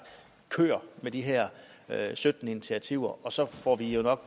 kør med de her sytten initiativer og så får vi jo nok